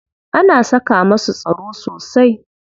Ana saka masu tsaro sosai.